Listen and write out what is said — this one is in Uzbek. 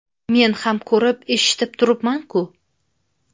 Men ham ko‘rib, eshitib turibman-ku.